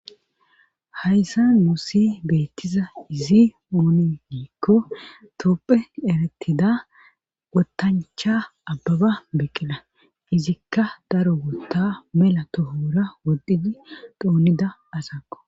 hayssa musi beettiza izi oone giikko topphe eretida wotancha abbaba beqqina izikka daro wotta mela tohora woddhidi doonida asakko